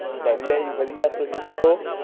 ਵਧੀਆ ਜੀ ਵਧੀਆ ਤੁਸੀਂ ਦੱਸੋ